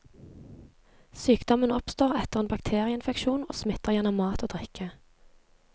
Sykdommen oppstår etter en bakterieinfeksjon, og smitter gjennom mat og drikke.